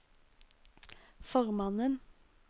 formannen